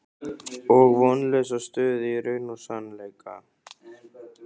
Og vonlausa stöðu í raun og sannleika.